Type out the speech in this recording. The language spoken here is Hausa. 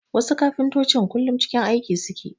Wasu kafintotocin kullum cikin aiki suke